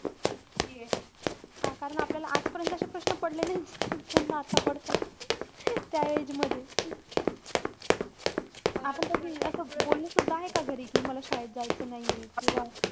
कारण आपल्याला आजपर्यंत अशे प्रश्न पडले नाहीये. त्यांना आता पडता तर, त्या age मध्ये. आपण कधी असं बोललोसुद्धा आहे का घरी कि मला शाळेत जायचं नाहीये किंवा,